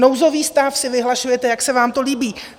Nouzový stav si vyhlašujete, jak se vám to líbí.